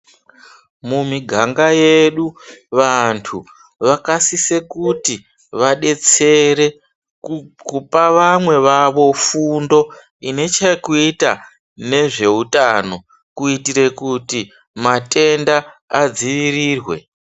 Mumiganga yedu vantu vakasise kuti vabetsere kupa vamwe vavo fundo ine chekuita nezveutano kuitire kuti matenda adziirirwe .